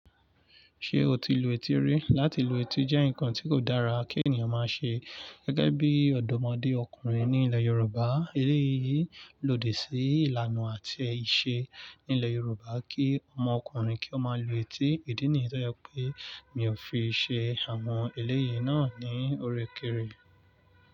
Ṣé o ti lu etí rí? Lati lu etí jẹ́ nǹkan tí kò dára kí ènìyàn máa ṣe gẹ́gẹ́ bí ọ̀dọ́mọdé ọkùnrin ní ilẹ̀ Yorùbá. Eléyìí lòdì sí ìlànà àti ìṣe nílẹ̀ Yorùbá kí ọmọ ọkùnrin kí ó máa lu etí. Ìdí nìyẹn tó jẹ pé mi ò fi ṣe àwọn eléyìí náà ní órékèèrè.